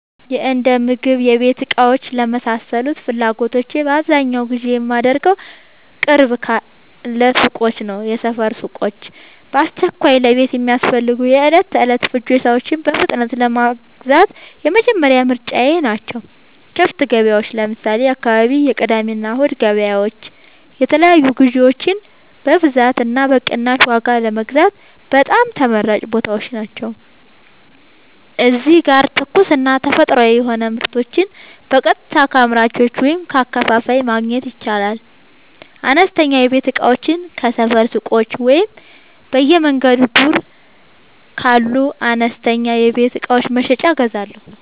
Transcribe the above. የእንደምግብና የቤት እቃዎች ለመሳሰሉት ፍላጎቶቼ በአብዛኛው ግዢ የማደርገዉ፦ ቅርብ ካሉ ሱቆች (የሰፈር ሱቆች)፦ በአስቸኳይ ለቤት የሚያስፈልጉ የዕለት ተዕለት ፍጆታዎችን በፍጥነት ለመግዛት የመጀመሪያ ምርጫየ ናቸው። ክፍት ገበያዎች (ለምሳሌ፦ የአካባቢው የቅዳሜና እሁድ ገበያዎች) የተለያዩ ግዥዎችን በብዛትና በቅናሽ ዋጋ ለመግዛት በጣም ተመራጭ ቦታዎች ናቸው። እዚህ ጋር ትኩስና ተፈጥሯዊ የሆኑ ምርቶችን በቀጥታ ከአምራቹ ወይም ከአከፋፋዩ ማግኘት ይቻላል። አነስተኛ የቤት እቃዎችን ከሰፈር ሱቆች ወይም በየመንገዱ ዳር ካሉ አነስተኛ የቤት እቃ መሸጫዎች እገዛለሁ።